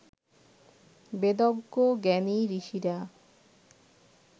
বেদজ্ঞ জ্ঞানী ঋষিরা